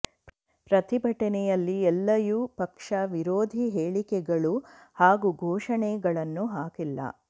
ಪ್ರತಿಭಟನೆಯಲ್ಲಿ ಎಲ್ಲಯೂ ಪಕ್ಷ ವಿರೋಧಿ ಹೇಳಿಕೆಗಳು ಹಾಗೂ ಘೋಷಣೆಗಳನ್ನು ಹಾಕಿಲ್ಲ